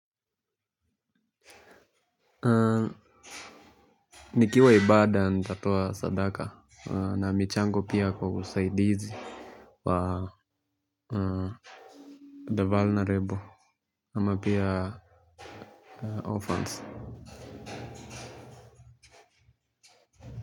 Nikiwa ibada nitatoa sadaka na michango pia kwa usaidizi wa the vulnerable ama pia orphans.